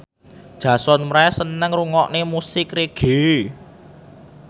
Jason Mraz seneng ngrungokne musik reggae